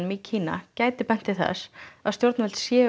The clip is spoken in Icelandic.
í Kína gæti bent til þess að stjórnvöld séu